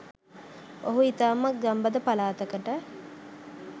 ඔහුව ඉතාමත් ගම්බද පලාතකට